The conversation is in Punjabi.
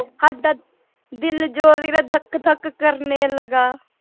ਦਿਲ ਜ਼ੋਰ ਦੀ ਧੱਕ ਧੱਕ ਕਰਨੇ ਲਗਾ।